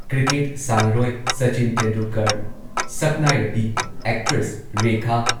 cricket ꯁꯥꯟꯅꯔꯣꯏ ꯁꯆꯤꯟ ꯇꯦꯟꯗꯨꯜꯀꯔ, ꯁꯛꯅꯥꯏꯔꯕꯤ actress Rekha